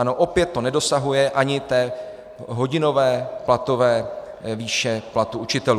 Ano, opět to nedosahuje ani té hodinové platové výše platu učitelů.